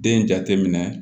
Den jate minɛ